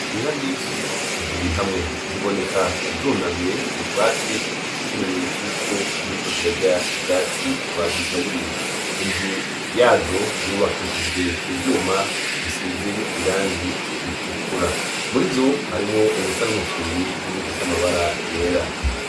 Inka nyinshi ziri hamwe, ziboneka zunamye mu bwatsi nk'ikimenyetso c'uko ziriko zirya ubwatsi bazigaburiye. Inzu yazo yubakishijwe ivyuma bisize irangi ritukura. Muri zo harimwo izisa n'umufyiri n'izifise amabara yera.